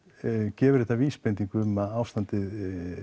gefur þetta vísbendingu um að ástandið